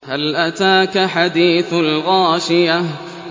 هَلْ أَتَاكَ حَدِيثُ الْغَاشِيَةِ